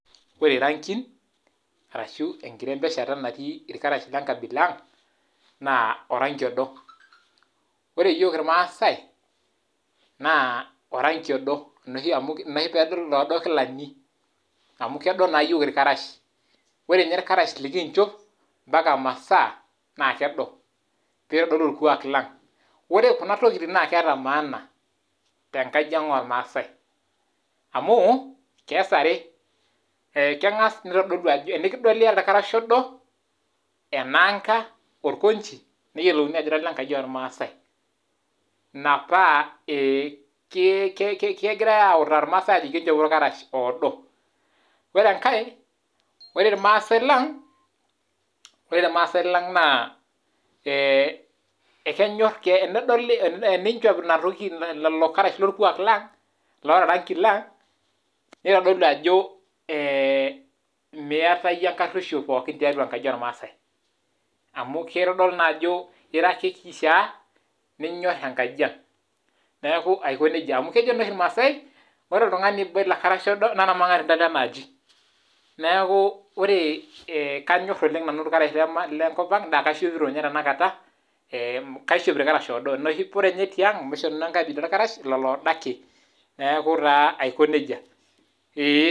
Ore irangin, orashu enkirembeshanata natii irkarash lenkabila ang, naa orangi odo ,ore yiok irmaasai naa orangi odo ina oshi pee idol oloodo kilani amu kedo naa yiok irkarash ,ore ninye irkarash lekinchop mpaka masaa naa kedo pee edorou orkuak lang , ore Kuna tokiting naa keeta maana tenkajiang ormaasai amu ,kees are tenikidoli iyata orkarasha odo ,enanka, orkanchi neyiolouni ajo ira ole nkaji ormaasai ,ina paa kegirae autaki irmaasai ajo enchopo irkarash odo. ore enkae ore irmaasai lang na tenedoli inchop lelo Karsh loranki loota orkuak lang neitodolu ajo miyata yie enkaruisho tiatua enkaji ormaasai amu keitodolu naa ajo ira ake Kishaa ninyor enkajiang aiko nejia amu kejo naa oshi irmaasai ore oltungani oiba ilo karasha odo naa ormangatinda lenaaji ,neeku kanyor nanu irkarash lenkop ang naa kaishopito ninye tenakata, ee kaishopito irakarash oodo ,ina ninye ore oshi tiang amu ore enkaaji natii irkarash lelo oodo ake. neeku taa Aiko nejia.